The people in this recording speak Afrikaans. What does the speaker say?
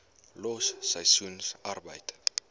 los seisoensarbeid